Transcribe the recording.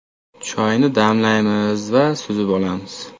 Choyni damlaymiz va suzib olamiz.